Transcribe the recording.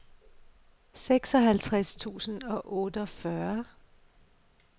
seksoghalvtreds tusind og otteogfyrre